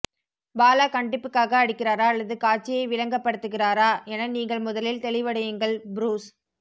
பாலா கண்டிப்புக்காக அடிக்கிறாரா அல்லது காட்சியை விளங்கப்படுத்துகிறாரா என நீங்கள் முதலில் தெளிவடையுங்கள் புருஸ்